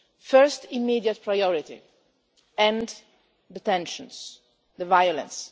First immediate priority end the tensions, the violence